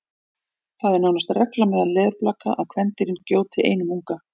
það er nánast regla meðal leðurblaka að kvendýrin gjóti einum unga